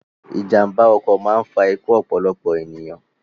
Ìjàmba ọkọ̀ máa ń fa ikú ọ̀pọ̀lọpọ̀ ènìyàn